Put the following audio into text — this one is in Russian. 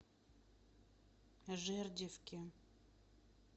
жердевке